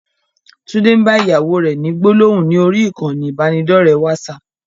Tunde ń bá ìyàwó rẹ ni gbólóhùn ni orí ìkànnì ibanidọ̀rẹ́ WhatsApp.